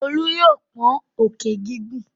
Olú yóò pọ́n òkè gígùn.